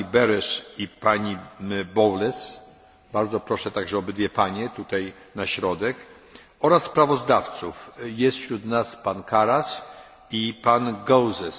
panią Berès i panią Bowles bardzo proszę obydwie panie tutaj na środek, oraz sprawozdawców jest wśród nas pan Karas i pan Gauzès.